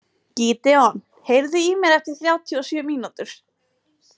Gídeon, heyrðu í mér eftir þrjátíu og sjö mínútur.